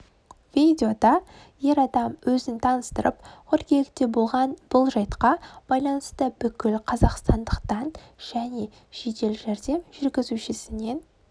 видеода ер адам өзін таныстырып қыркүйекте болған бұл жайтқа байланысты бүкіл қазақстандықтан және жедел жәрдем жүргізушісінен